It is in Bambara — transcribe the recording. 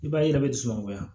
I b'a ye i yɛrɛ bɛ dusu nɔgɔya